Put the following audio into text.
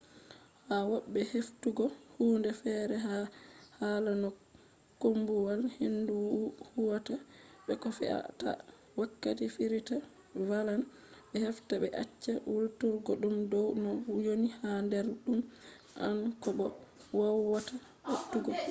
ha wobbe heftugo hunde fere ha hala no koombuwal-hendu huwata be ko fe a ta wakkati firita vallan be hefta be acca hulturgo dum dow no woni ha der dum anda ko bo kowwata atugo